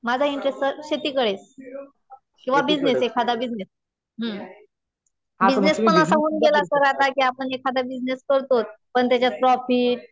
माझा interest sir शेतीकडे किंवा बिजनेस, एखादा बिजनेस. हम्म. बिजनेस पण असा होऊन गेला सर आता कि आपण एखादा बिजनेस करतो. पण त्याच्यात प्रॉफिट